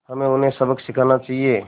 हमें उन्हें सबक सिखाना चाहिए